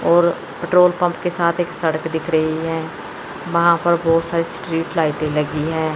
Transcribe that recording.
और petrol pump के साथ एक सड़क दिख रही है वहां पर बहोत सारे स्ट्रीट लाइटें लगी हैं।